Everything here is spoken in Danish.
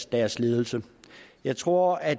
deres ledelse jeg tror at